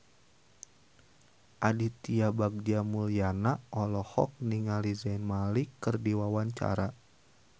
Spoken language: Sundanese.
Aditya Bagja Mulyana olohok ningali Zayn Malik keur diwawancara